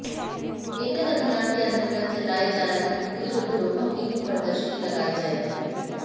एकल अभियान के अंतर्गत चलाए जा रहे कुटीर उद्योगों की भी प्रदर्शनी लगाई जाएगी